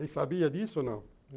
sabia disso ou não?